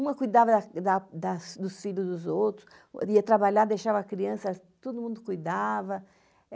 Uma cuidava das da das dos filhos dos outros, ia trabalhar, deixava a criança, todo mundo cuidava.